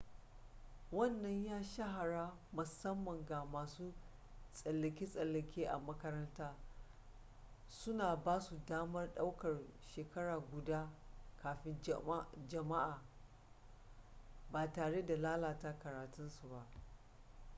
wannan ya shahara musamman ga masu tsallake-tsallake a makaranta suna basu damar ɗaukar shekara guda kafin jami'a ba tare da lalata karatunsu ba